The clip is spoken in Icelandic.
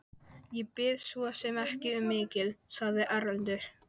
Ég bið svo sem ekki um mikið, sagði Erlendur.